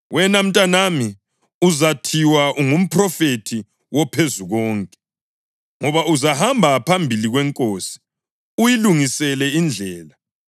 Wena mntanami, uzathiwa ungumphrofethi woPhezukonke; ngoba uzahamba phambili kweNkosi uyilungisele indlela,